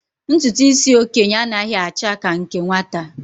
Ntụtụ isi okenye a naghị acha ka nke nwata.